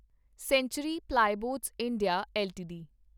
sanctuary Plyboards India LTD